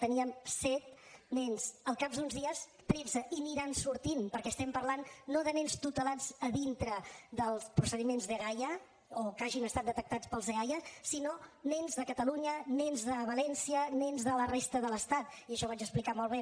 teníem set nens al cap d’uns dies tretze i n’aniran sortint perquè estem parlant no de nens tutelats a dintre dels procediments dgaia o que hagin estat detectats pels eaia sinó nens de catalunya nens de valència nens de la resta de l’estat i això ho vaig explicar molt bé